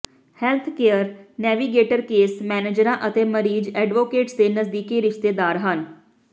healthcare navigator case ਮੈਨੇਜਰਾਂ ਅਤੇ ਮਰੀਜ਼ ਐਡਵੋਕੇਟਸ ਦੇ ਨਜ਼ਦੀਕੀ ਰਿਸ਼ਤੇਦਾਰ ਹਨ